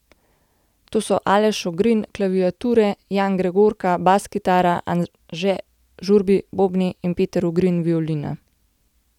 To so Aleš Ogrin, klaviature, Jan Gregorka, bas kitara, Anže Žurbi, bobni, in Peter Ugrin, violina.